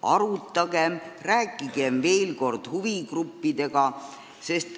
Arutagem ja rääkigem veel kord huvigruppidega.